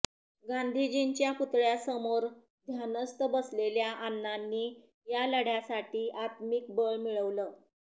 गांधींजींच्या पुतळ्यासमोर ध्यानस्थ बसलेल्या अण्णांनी या लढ्यासाठी आत्मिक बळ मिळवलं